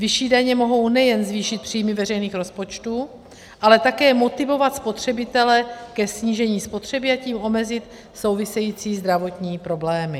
Vyšší daně mohou nejen zvýšit příjmy veřejných rozpočtů, ale také motivovat spotřebitele ke snížení spotřeby, a tím omezit související zdravotní problémy.